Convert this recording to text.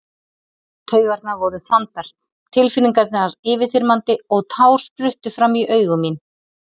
Taugarnar voru þandar, tilfinningarnar yfirþyrmandi og tár spruttu fram í augu mín.